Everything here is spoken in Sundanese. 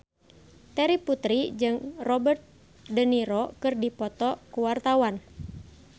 Terry Putri jeung Robert de Niro keur dipoto ku wartawan